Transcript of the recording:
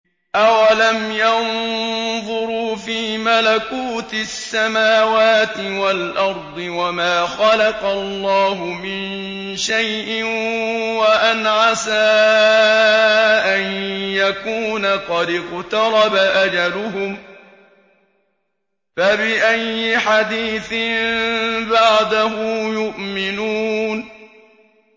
أَوَلَمْ يَنظُرُوا فِي مَلَكُوتِ السَّمَاوَاتِ وَالْأَرْضِ وَمَا خَلَقَ اللَّهُ مِن شَيْءٍ وَأَنْ عَسَىٰ أَن يَكُونَ قَدِ اقْتَرَبَ أَجَلُهُمْ ۖ فَبِأَيِّ حَدِيثٍ بَعْدَهُ يُؤْمِنُونَ